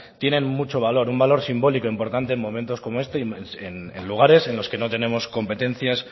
tienen mucho valor un valor simbólico importante en momentos como este y en lugares en los que no tenemos competencias